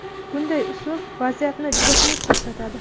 Bunday uslub vaziyatni juda xunuk ko‘rsatadi.